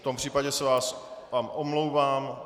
V tom případě se vám omlouvám.